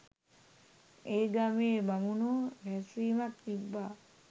ඒ ගමේ බමුණෝ රැස්වීමක් තිබ්බා